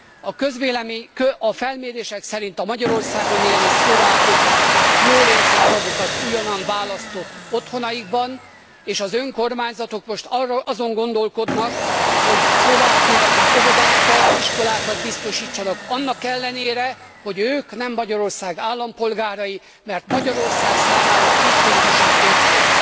A felmérések szerint a Magyarországon élő szlovákok jól érzik magukat újonnan választott otthonaikban és az önkormányzatok most azon gondolkodnak, hogy szlovák nyelvű óvodákat, iskolákat biztosítsanak annak ellenére, hogy ők nem Magyarország állampolgárai, mert Magyarország számára a kétnyelvűség érték.